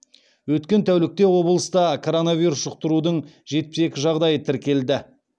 өткен тәулікте облыста корнавирус жұқтырудың жетпіс екі жағдайы тіркелді